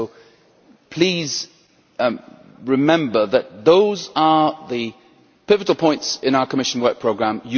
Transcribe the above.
So please remember that those are the pivotal points in our Commission Work Programme.